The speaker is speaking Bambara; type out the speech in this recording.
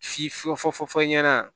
Si fɔ ɲɛna